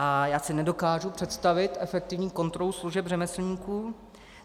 A já si nedokážu představit efektivní kontrolu služeb řemeslníků.